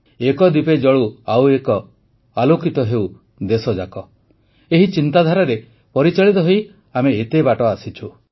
ଏକ ଦୀପେ ଜଳୁ ଆଉ ଏକ ଆଲୋକିତ ହେଉ ଦେଶଯାକ ଏହି ଚିନ୍ତାଧାରାରେ ପରିଚାଳିତ ହୋଇ ଆମେ ଏତେ ବାଟ ଆସିଛୁ